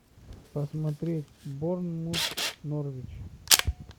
посмотреть борнмут норвич